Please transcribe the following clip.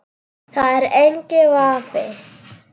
Það er enginn vafi.